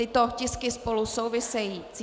Tyto tisky spolu souvisejí.